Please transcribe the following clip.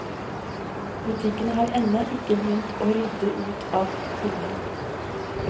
Butikkene har ennå ikke begynt å rydde ut av hyllene.